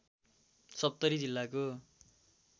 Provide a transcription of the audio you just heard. सप्तरी जिल्लाले